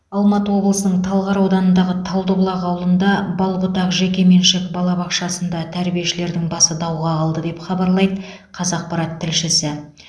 алматы облысының талғар ауданындағы талдыбұлақ ауылында бал бұтақ жекеменшік балабақшасындағы тәрбиешілердің басы дауға қалды деп хабарлайды қазақпарат тілшісі